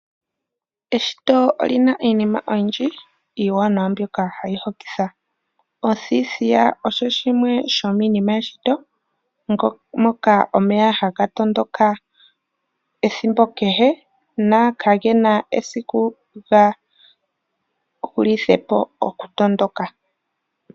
Eshito olina iinima oyindji mbyoka hayi hokitha. Othithiya osho oshimwe shomiinima yeshito moka omeya haga matuka ethimbo kehe ,na kagena esiku ga hulithepo oku matuka.